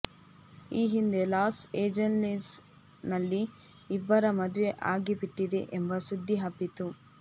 ಈ ಹಿಂದೆ Los Angeles ನಲ್ಲಿ ಇಬ್ಬರ ಮದುವೆ ಆಗಿಬಿಟ್ಟಿದೆ ಎಂಬ ಸುದ್ದಿ ಹಬ್ಬಿತ್ತು